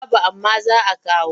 Babu amma za a kawo.